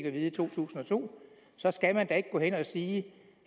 at vide i to tusind og to så skal man da ikke gå hen og sige